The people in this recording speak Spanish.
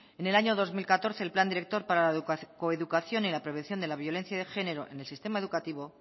en el año dos mil catorce el plan director para la coeducación y la prevención de la violencia de género en el sistema educativo